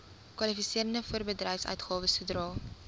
kwalifiserende voorbedryfsuitgawes sodra